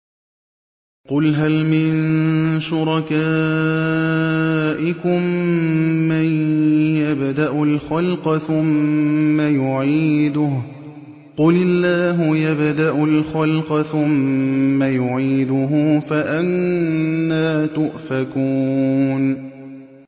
قُلْ هَلْ مِن شُرَكَائِكُم مَّن يَبْدَأُ الْخَلْقَ ثُمَّ يُعِيدُهُ ۚ قُلِ اللَّهُ يَبْدَأُ الْخَلْقَ ثُمَّ يُعِيدُهُ ۖ فَأَنَّىٰ تُؤْفَكُونَ